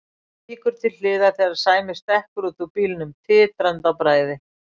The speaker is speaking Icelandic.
Víkur til hliðar þegar Sæmi stekkur út úr bílnum, titrandi af bræði.